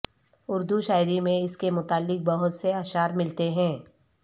اردو شاعری میں اس کے متعلق بہت سے اشعار ملتے ہیں